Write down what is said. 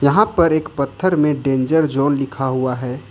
यहां पर एक पत्थर में डेंजर जोन लिखा हुआ है।